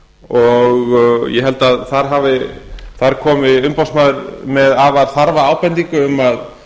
og ég held að þar komi umboðsmaður með afar þarfa ábendingu um að